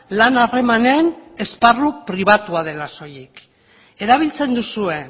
lan harremanen esparru pribatua dela soilik erabiltzen duzue